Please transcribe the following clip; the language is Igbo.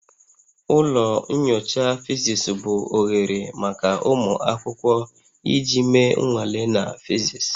Ụlọ nyocha physics bụ oghere maka ụmụ akwụkwọ iji mee nnwale na physics